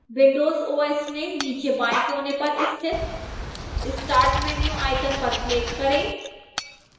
windows os में नीचे बाएं कोने पर स्थित start menu icon पर click करें